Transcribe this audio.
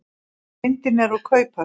Myndin er úr kauphöll.